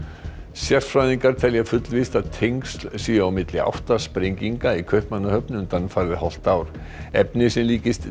sérfræðingar telja fullvíst að tengsl séu á milli átta sprenginga í Kaupmannahöfn undanfarið hálft ár efni sem líkist